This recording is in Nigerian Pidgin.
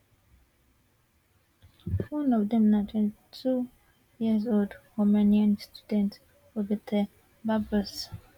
one of dem na twenty two years old romanian student roberta barbos